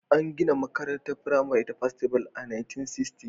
An gina makarantar firamare ta Festival a 1960.